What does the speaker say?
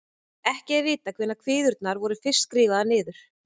Ekki er vitað hvenær kviðurnar voru fyrst skrifaðar niður.